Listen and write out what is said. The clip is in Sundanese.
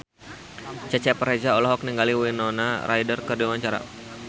Cecep Reza olohok ningali Winona Ryder keur diwawancara